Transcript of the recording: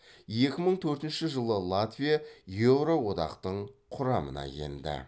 екі мың төртінші жылы латвия еуроодақтың құрамына енді